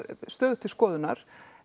stöðugt til skoðunnar